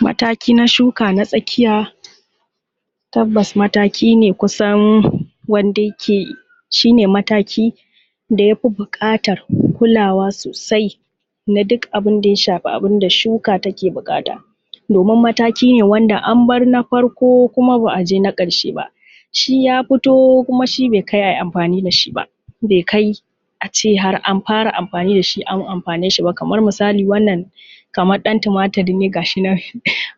Mataki na shuka na tsakiya, tabbas mataki ne kusan wanda yake, shi ne mataki da ya fi buƙatar kulawa sosai na duk abin da ya shafi abun da shuka take buƙata domin mataki ne wanda an bar na farko ba a je na ƙarshe ba, shi ya fito kuma shi bai kai a yi amfani da shi ba, bai kai a ce har an fara amfani da shi an amfane shi ba, kamar misali wannan kamar ɗan tumatur ne ga shi nan,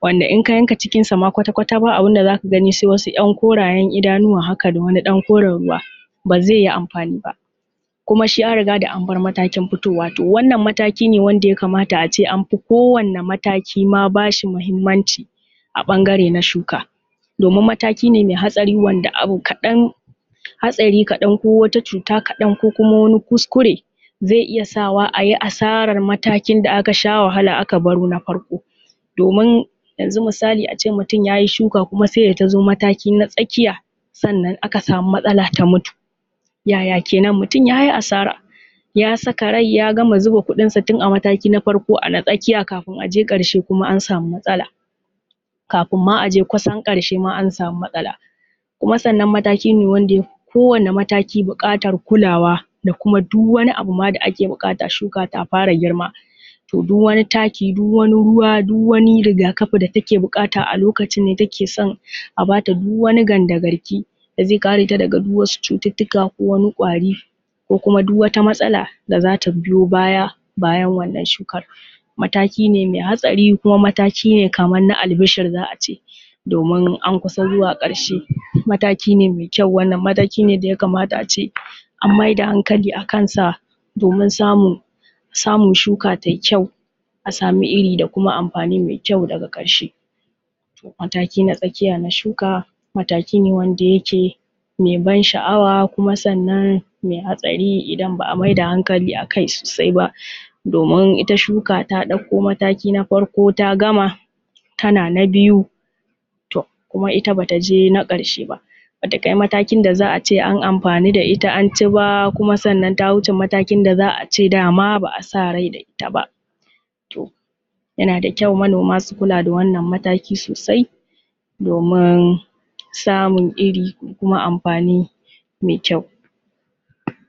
wanda in ka yanka cikinsa ma kwata-kwata ba abin da za ka gani sai wasu ‘yan koraye idanuwa haka da wani ɗan koren ruwa ba zai yi amfani ba, kuma shi an riga da an bar matakin fitowa. To wannan mataki ne wanda ya kamata a ce an fi ko wane mataki ma bashi mahimmanci a ɓangare na shuka, domin mataki ne mai hatsari wanda abu kaɗan, hatsari kaɗan ko wata cuta kaɗan ko kuma wani kuskure zai iya sawa a yi asarar matakin da aka sha wahala aka baro na farko. Domin yanzu misali a ce mutum ya yi shuka kuma sai da ta zo mataki na tsakiya sannan aka samu matsala ta mutu, ya ya kenan, mutum ya yi asara, ya saka rai ya gama zuba kuɗinsa tun a mataki na farko ana tsakiya kafin a je ƙarshe kuma an samu matsala kafin ma a je kusan ƙarshe ma an samu matsala. Kuma sannan mataki ne wanda yafi ko wane mataki buƙatar kulawa duka wani abu ma da ake buƙata shuka ta fara girma, to duk wani taki, duk wani ruwa, duk wani rigakafi da take buƙata a lokacin ne take son a bata duk wani gandagarki da zai kare ta daga duk wasu cututtuka ko wani ƙwari ko kuma duk wata matsala da za ta biyo baya, bayan wannan shukar. Mataki ne mai hatsari kuma mataki ne kamar albishir za a ce domin an kusa zuwa ƙarshe, mataki ne mai kyau wannan, mataki ne da ya kamata a ce an maida hankali a kansa domin samun, samun shuka tai kyau a samu iri da kuma amfani mai kyau daga ƙarshe. Mataki na tsakiya na shuka mataki wanda yake mai ban sha’awa kuma sannan mai hatsari idan ba a maida hankali a kai sosai ba, domin ita shuka ta ɗauko mataki na farko ta gama, tana na biyu, to kuma ita bata je na ƙarshe ba. Ba ta kai matakin da za a ce an amfanu da ita an ci ba kuma sannan ta wuce matakin da za a ce dama ba a sa rai da ita ba. To, yana da kyau manoma su kula da wannan mataki sosai domin samun iri da kuma amfani mai kyau.